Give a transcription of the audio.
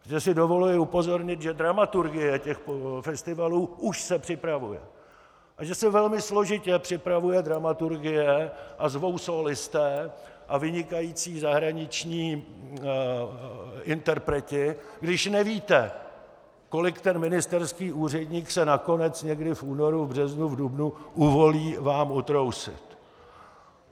Protože si dovoluji upozornit, že dramaturgie těchto festivalů už se připravuje a že se velmi složitě připravuje dramaturgie a zvou sólisté a vynikající zahraniční interpreti, když nevíte, kolik ten ministerský úředník se nakonec někde v únoru, v březnu, v dubnu uvolí vám utrousit.